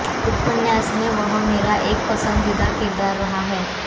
उपन्यास में वह मेरा एक पसंदीदा किरदार रहा है